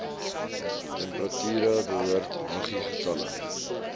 temperature behoort muggiegetalle